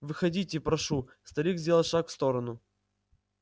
входите прошу старик сделал шаг в сторону